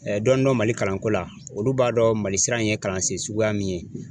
dɔni dɔn Mali kalanko la ,olu b'a dɔn Mali sira in ye kalansen suguya min ye.